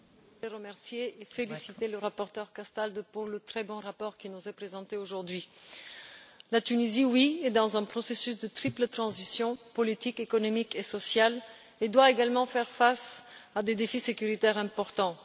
Madame la Présidente, je voudrais remercier et féliciter le rapporteur Castaldo pour le très bon rapport qui nous est présenté aujourd'hui. La Tunisie est dans un processus de triple transition, politique, économique et sociale, et doit également faire face à des défis sécuritaires importants.